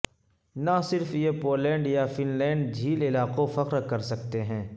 نہ صرف یہ پولینڈ یا فن لینڈ جھیل علاقوں فخر کر سکتے ہیں